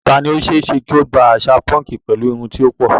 Ta ni ó ṣe é ṣe kí ó gba àṣà púnkì pẹ̀lú irun tí ó pọ̀?